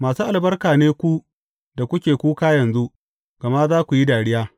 Masu albarka ne ku da kuke kuka yanzu, gama za ku yi dariya.